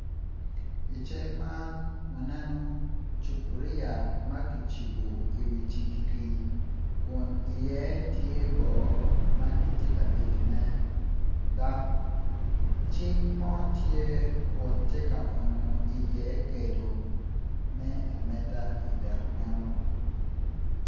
I cal man waneno cupuriya ma kicipu i wi cigiri kun iye tye boo ma kiti ka tetone dok cing mo tye kun tye ka onyo iye kedu me ameta idek meno